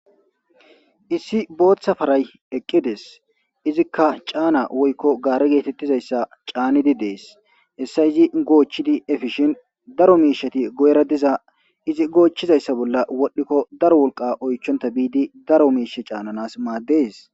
Issi booththa faray eqqides izikka caana woykko gaare geetettizayssa caanidi dees hessay izi goochchidi efishin daro miishati goyra diza izi goochchizayssa bolla wodhdhikko daro wolqa oychonta biidi daro miishe caananas maaddes